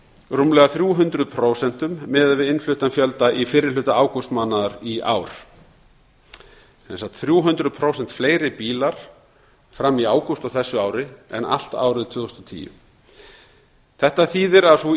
rúmlega þrjú hundruð prósent miðað við innfluttan fjölda í fyrri hluta ágústmánaðar í ár sem sagt þrjú hundruð prósent fleiri bílar fram í ágúst á þessu ári en allt árið tvö þúsund og tíu þetta þýðir að sú